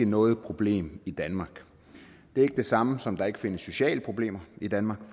noget problem i danmark det er ikke det samme som at der ikke findes sociale problemer i danmark